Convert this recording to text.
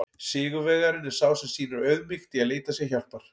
Sigurvegarinn er sá sem sýnir auðmýkt í að leita sér hjálpar!